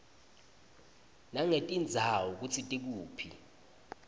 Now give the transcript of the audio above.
nangetindzawo kutsi tikuphi